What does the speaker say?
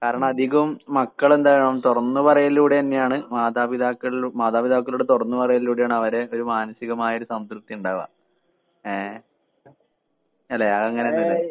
കാരണം അധികം മക്കളെന്താകണം തൊറന്ന് പറയിലിലൂടെന്നെയാണ് മാതാപിതാക്കളില് മാതാപിതാക്കളോട് തൊറന്ന് പറയിലിലൂടെ തന്നെയാണ് അവരെ ഒരു മാനസികമായൊരു സംതൃപ്തി ഉണ്ടാവുക. ഏഹ് അല്ലെ അത് അങ്ങനെ തന്നെയല്ലേ